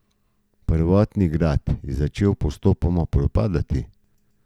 Prvotni grad je začel postopoma propadati.